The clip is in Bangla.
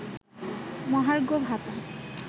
মহার্ঘ ভাতা